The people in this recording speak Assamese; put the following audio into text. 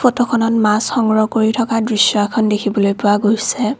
ফটোখনত মাছ সংগ্ৰহ কৰি থকা দৃশ্য এখন দেখিবলৈ পোৱা গৈছে।